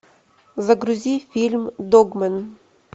загрузи фильм догмен